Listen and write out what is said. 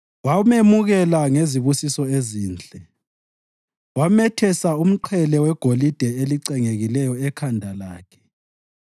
Wamemukela ngezibusiso ezinhle wamethesa umqhele wegolide elicengekileyo ekhanda lakhe.